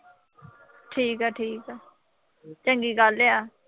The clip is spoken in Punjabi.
ਠੀਕ ਆ-ਠੀਕ ਆ, ਚੰਗੀ ਗੱਲ ਆ।